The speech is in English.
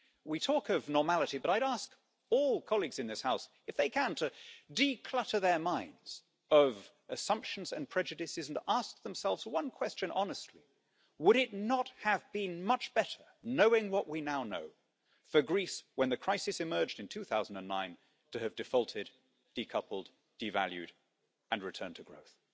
We talk of normality, but I would ask all colleagues in this House if they can't declutter their minds of assumptions and prejudices and ask themselves one question honestly would it not have been much better, knowing what we now know for Greece, when the crisis emerged in 2009 to have defaulted, decoupled, devalued and returned to growth?